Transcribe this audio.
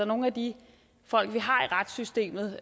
nogle de folk vi har i retssystemet